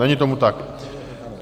Není tomu tak.